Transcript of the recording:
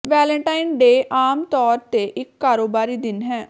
Valentine day ਆਮ ਤੌਰ ਤੇ ਇਕ ਕਾਰੋਬਾਰੀ ਦਿਨ ਹੈ